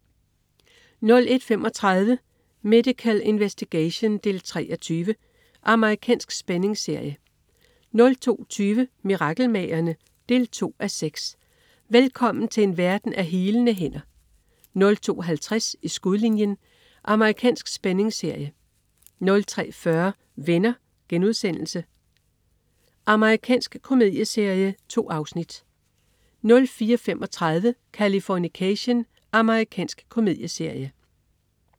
01.35 Medical Investigation 3:20. Amerikansk spændingsserie 02.20 Mirakelmagerne? 2:6. Velkommen til en verden af healende hænder 02.50 I skudlinjen. Amerikansk spændingsserie 03.40 Venner.* Amerikansk komedieserie. 2 afsnit 04.35 Californication. Amerikansk komedieserie